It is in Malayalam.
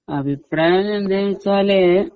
അഭിപ്രായം എന്താന്നുവെച്ചാല്